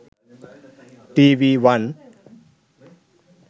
tv one